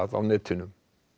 á netinu